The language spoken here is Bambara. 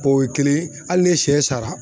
O ye kelen hali ni sɛ sara.